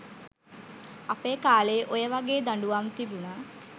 අපේ කාලේ ඔය වගේ දඬුවම් තිබුන